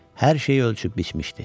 Hər şeyi ölçüb biçmişdi.